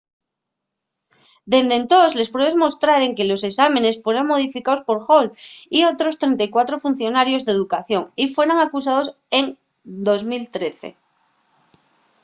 dende entós les pruebes mostraben que los esámenes fueran modificaos por hall y otros 34 funcionarios d'educación y fueran acusaos en 2013